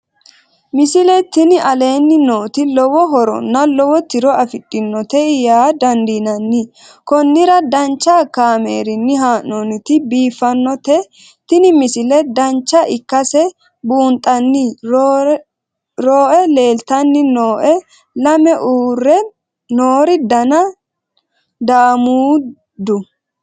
misile tini aleenni nooti lowo horonna lowo tiro afidhinote yaa dandiinanni konnira danchu kaameerinni haa'noonnite biiffannote tini misile dancha ikkase buunxanni rooe leeltanni nooe lame uurre noori dana daamuuddu